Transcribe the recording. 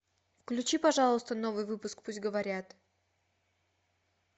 включи пожалуйста новый выпуск пусть говорят